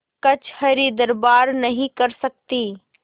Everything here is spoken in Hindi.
कचहरीदरबार नहीं कर सकती